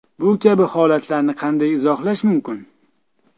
Bu kabi holatlarni qanday izohlash mumkin?